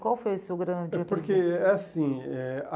Qual foi o seu grande aprendizado? É porque é assim eh